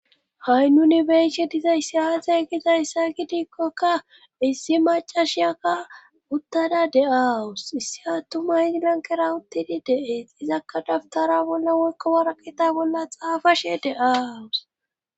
ha'i nuni be'ishe dizayssi azee gizayssa gidiikkokka issi macashiyaka uttada de'aawus issi attumay izi lanqera uttidi de'ees izakka dabutara bolla woykko waraqeta bolla xaafashe de'awus